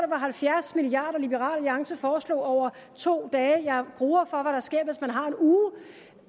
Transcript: var halvfjerds milliard kr liberal alliance foreslog over to dage jeg gruer for vil ske hvis man har en uge